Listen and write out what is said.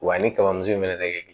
Wa ni kamiso in fɛnɛ tɛ kɛ